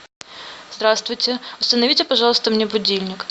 здравствуйте установите пожалуйста мне будильник